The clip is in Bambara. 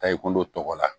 Ta i kolo tɔgɔ la